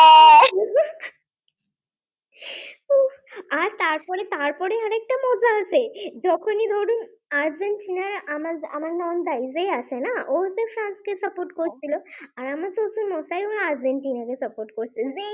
আর তারপরে তারপরে আরেকটা মজা আছে যখনই ধরুন আর্জেন্টিনার আমার নন্দাই যে আছে না ও তো ফ্রান্সকে support করছিল আমার শ্বশুর আর্জেন্টিনাকে support করছিল